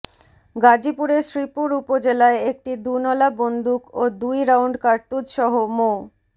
গাজীপুরের শ্রীপুর উপজেলায় একটি দুনলা বন্দুক ও দুই রাউন্ড কার্তুজসহ মো